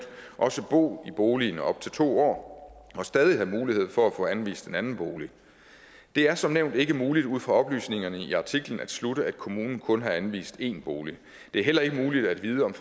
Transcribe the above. også bo i boligen i op til to år og stadig have mulighed for at få anvist en anden bolig det er som nævnt ikke muligt ud fra oplysningerne i artiklen at slutte at kommunen kun har anvist én bolig det er heller ikke muligt at vide om